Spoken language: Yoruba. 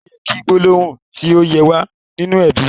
O yẹ ki gbólóhùn tí o yẹ wa ninu ẹbí.